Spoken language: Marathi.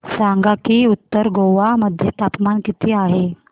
सांगा की उत्तर गोवा मध्ये तापमान किती आहे